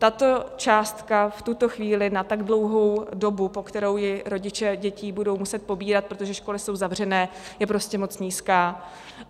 Tato částka v tuto chvíli na tak dlouhou dobu, po kterou ji rodiče dětí budou muset pobírat, protože školy jsou zavřené, je prostě moc nízká.